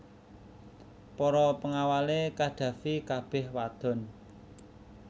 Para pengawale Qaddafi kabeh wadon